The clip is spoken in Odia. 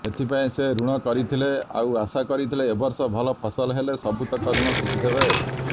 ଏଥିପାଇଁ ସେ ଋଣ କରିଥିଲେ ଆଉ ଆଶା କରିଥିଲେ ଏବର୍ଷ ଭଲ ଫସଲ ହେଲେ ସବୁତକ ଋଣ ସୁଝିଦେବେ